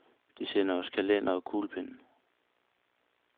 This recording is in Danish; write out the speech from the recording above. De sender os kalendere og kuglepenne.